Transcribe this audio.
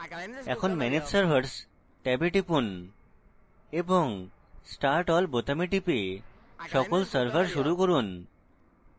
এখন manage servers ট্যাবে যান এবং start all বোতামে টিপে সকল servers শুরু করুন